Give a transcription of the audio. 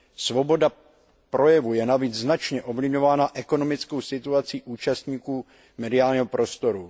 Svoboda projevu je navíc značně ovlivňována ekonomickou situací účastníků mediálního prostoru.